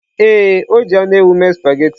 Ee, o ji anụ ewu mee spaghetị.